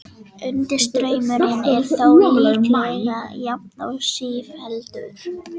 Undirstraumurinn er þó líklega jafn og sífelldur.